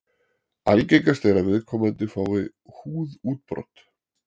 Algengast er að viðkomandi fái húðútbrot.